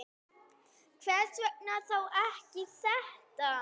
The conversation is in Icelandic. Hvers vegna þá ekki þetta?